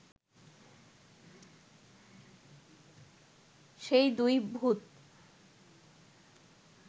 সেই দুই ভূত